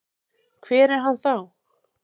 Hver er hann þá?